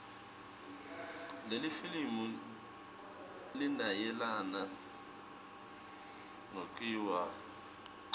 lelifilimu linayelana nekuiwaya